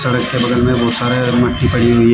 सड़क के बगल में बहुत सारे मिट्टी पड़ी हुई है।